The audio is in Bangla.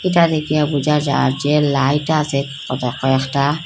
চালি কিয়া বুঝা চার্জ -এর লাইট আসে ওতে কয়েকটা।